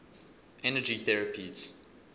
energy therapies